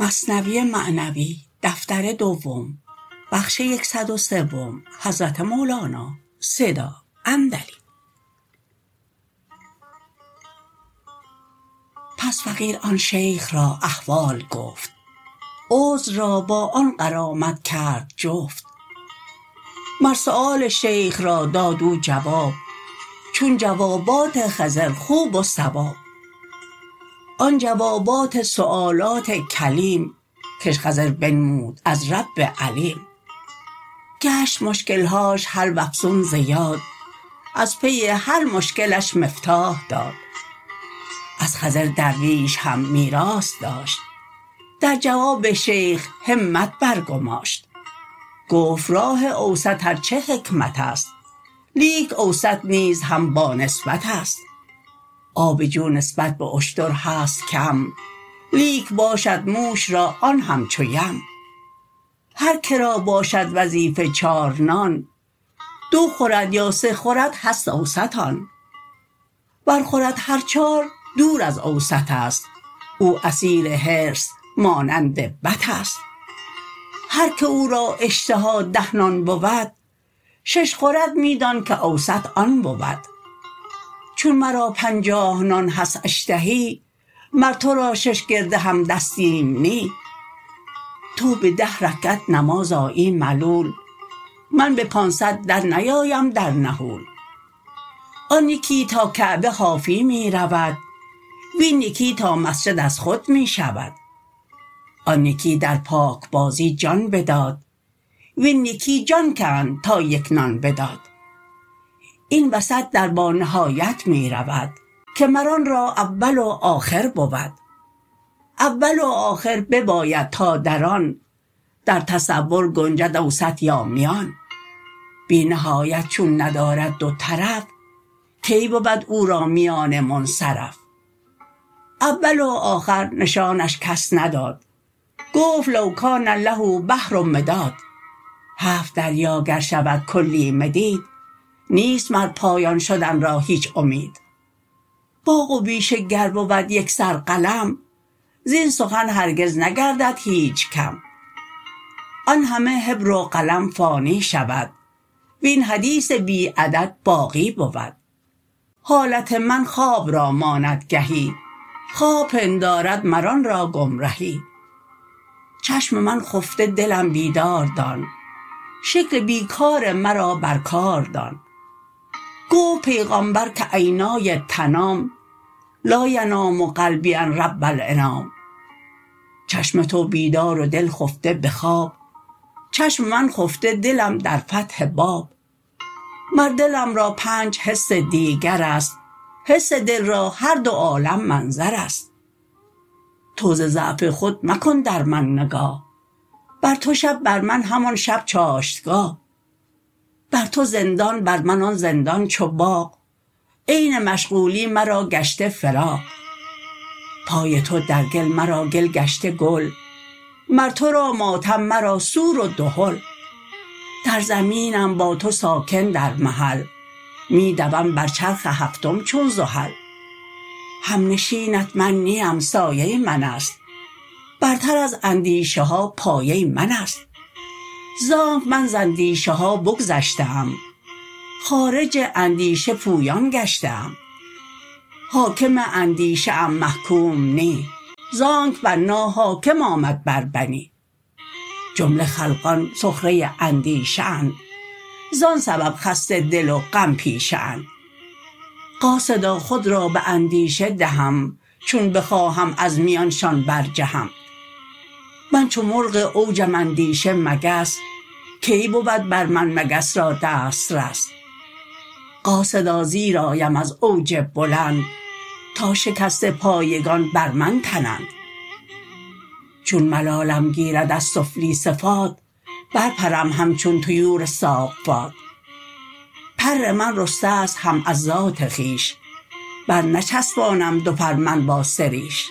پس فقیر آن شیخ را احوال گفت عذر را با آن غرامت کرد جفت مر سؤال شیخ را داد او جواب چون جوابات خضر خوب و صواب آن جوابات سؤالات کلیم کش خضر بنمود از رب علیم گشت مشکلهاش حل وافزون ز یاد از پی هر مشکلش مفتاح داد از خضر درویش هم میراث داشت در جواب شیخ همت بر گماشت گفت راه اوسط ارچه حکمتست لیک اوسط نیز هم با نسبتست آب جو نسبت باشتر هست کم لیک باشد موش را آن همچو یم هر که را باشد وظیفه چار نان دو خورد یا سه خورد هست اوسط آن ور خورد هر چار دور از اوسط است او اسیر حرص مانند بط است هر که او را اشتها ده نان بود شش خورد می دان که اوسط آن بود چون مرا پنجاه نان هست اشتها مر تو را شش گرده هم دستیم نی تو به ده رکعت نماز آیی ملول من به پانصد در نیایم در نحول آن یکی تا کعبه حافی می رود وین یکی تا مسجد از خود می شود آن یکی در پاک بازی جان بداد وین یکی جان کند تا یک نان بداد این وسط در با نهایت می رود که مر آن را اول و آخر بود اول و آخر بباید تا در آن در تصور گنجد اوسط یا میان بی نهایت چون ندارد دو طرف کی بود او را میانه منصرف اول و آخر نشانش کس نداد گفت لو کان له البحر مداد هفت دریا گر شود کلی مداد نیست مر پایان شدن را هیچ امید باغ و بیشه گر بود یکسر قلم زین سخن هرگز نگردد هیچ کم آن همه حبر و قلم فانی شود وین حدیث بی عدد باقی بود حالت من خواب را ماند گهی خواب پندارد مر آن را گم رهی چشم من خفته دلم بیدار دان شکل بی کار مرا بر کار دان گفت پیغامبر که عینای تنام لا ینام قلبی عن رب الانام چشم تو بیدار و دل خفته بخواب چشم من خفته دلم در فتح باب مر دلم را پنج حس دیگرست حس دل را هر دو عالم منظرست تو ز ضعف خود مکن در من نگاه بر تو شب بر من همان شب چاشتگاه بر تو زندان بر من آن زندان چو باغ عین مشغولی مرا گشته فراغ پای تو در گل مرا گل گشته گل مر تو را ماتم مرا سور و دهل در زمینم با تو ساکن در محل می دوم بر چرخ هفتم چون زحل همنشینت من نیم سایه من است برتر از اندیشه ها پایه من است زانک من ز اندیشه ها بگذشته ام خارج اندیشه پویان گشته ام حاکم اندیشه ام محکوم نی زانک بنا حاکم آمد بر بنا جمله خلقان سخره اندیشه اند زان سبب خسته دل و غم پیشه اند قاصدا خود را به اندیشه دهم چون بخواهم از میانشان بر جهم من چو مرغ اوجم اندیشه مگس کی بود بر من مگس را دست رس قاصدا زیر آیم از اوج بلند تا شکسته پایگان بر من تنند چون ملالم گیرد از سفلی صفات بر پرم همچون طیور الصافات پر من رسته ست هم از ذات خویش بر نچفسانم دو پر من با سریش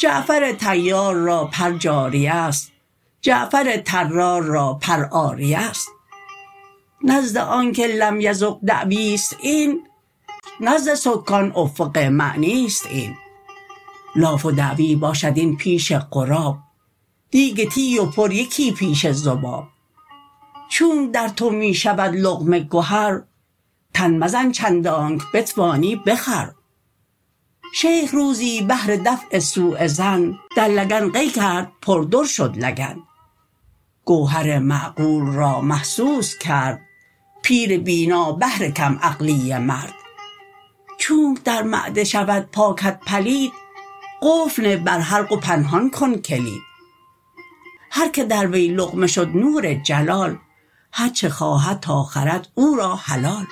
جعفر طیار را پر جاریه ست جعفر طرار را پر عاریه ست نزد آنک لم یذق دعویست این نزد سکان افق معنیست این لاف و دعوی باشد این پیش غراب دیگ تی و پر یکی پیش ذباب چونک در تو می شود لقمه گهر تن مزن چندانک بتوانی بخور شیخ روزی بهر دفع سؤ ظن در لگن قی کرد پر در شد لگن گوهر معقول را محسوس کرد پیر بینا بهر کم عقلی مرد چونک در معده شود پاکت پلید قفل نه بر حلق و پنهان کن کلید هر که در وی لقمه شد نور جلال هر چه خواهد تا خورد او را حلال